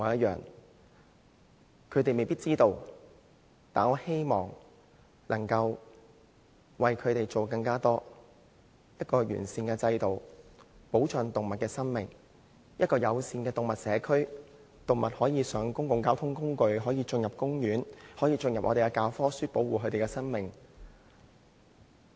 動物們未必知道，但我希望能夠為牠們做得更多，制訂一個完善的制度，保障動物的生命；建立一個友善的動物社區，讓動物可以搭乘公共交通工具、進入公園；並將保護動物的課題列入教科書，宣揚保護牠們的生命。